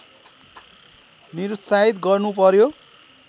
निरुत्साहित गर्नु पर्‍यो